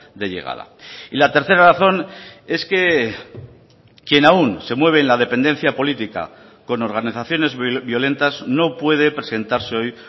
de llegada y la tercera razón es que quien aun se mueve en la dependencia política con organizaciones violentas no puede presentarse hoy